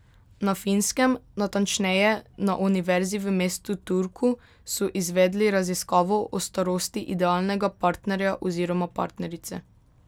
Na Finskem, natančneje na Univerzi v mestu Turku, so izvedli raziskavo o starosti idealnega partnerja oziroma partnerice.